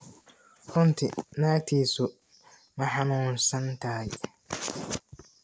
Runtii naagtiisu ma xanuunsan tahay?